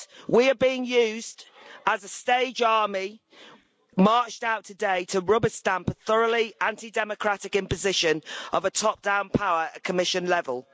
We are being used as a stage army marched out today to rubber stamp a thoroughly anti democratic imposition of a top down power at Commission level.